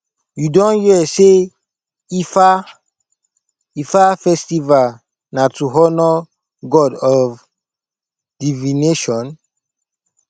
you don hear sey ifa ifa festival na to honour god of divination